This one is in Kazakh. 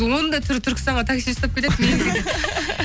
оның да түрі түркістанға такси ұстап кетеді